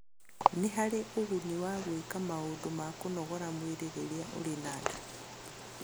Nĩ harĩ ũguni wa gwĩka maũndũ ma kũnogora mwĩrĩ rĩrĩa ũrĩ na nda.